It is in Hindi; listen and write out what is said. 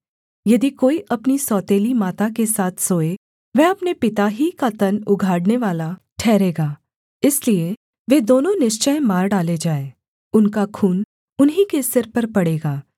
यदि कोई अपनी सौतेली माता के साथ सोए वह अपने पिता ही का तन उघाड़नेवाला ठहरेगा इसलिए वे दोनों निश्चय मार डाले जाएँ उनका खून उन्हीं के सिर पर पड़ेगा